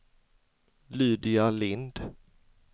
Lydia Lindh